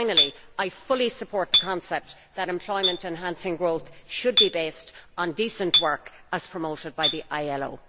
Finally, I fully support the concept that employment enhancing growth should be based on decent work, as promoted by the ILO.